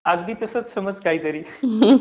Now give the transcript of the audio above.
अगदी तसंच समज काहीतरी.